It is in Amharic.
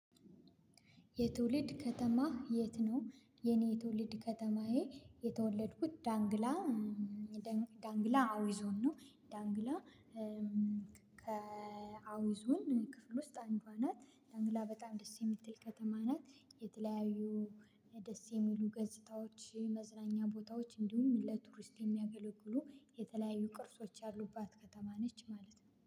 የትውልድ ከተማህ የት ነው? የኔ የትውልድ ከተማዬ የተወለድኩት ዳንግላ ዳንግላ አዊ ዞን ነው። ዳንግላ ከአዊ ዞን ክፍል ውስጥ አንዷ ናት። ዳንግላ በጣም ደስ የምትል ከተማ ናት። የተለያዩ ደስ የሚሉ ገጽታዎች መዝናኛ ቦታዎች እንዲሁም ለቱሪስት የሚያገለግሉ የተለያዩ ቅርሶች ያሉባት ከተማ ነች ማለት ነው